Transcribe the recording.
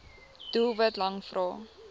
doelwit lang vrae